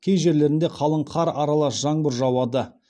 кей жерлерінде қалық қар аралас жаңбыр жауады